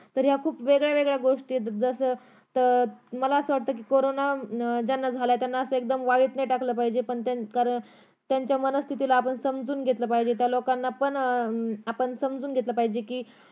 तर या खूप वेगळ्या वेगळ्या गोष्टी येत जसं अं माला असं वटतं कि करोंना अं झाला त्यांना असं वाईट नाही टाकलं पाहिजे पण त्यांच्या मनस्थितीला आपण समजून घेतलं पाहिजे त्या लोकांना पण आपण समजून घेतल पाहिजे कि